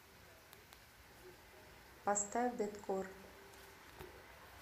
поставь дэткор